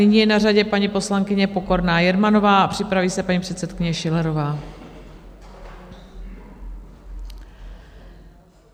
Nyní je na řadě paní poslankyně Pokorná Jermanová a připraví se paní předsedkyně Schillerová.